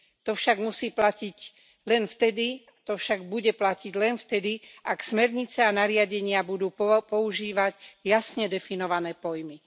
To však musí platiť len vtedy, to však bude platiť len vtedy, ak smernice a nariadenia budú používať jasne definované pojmy.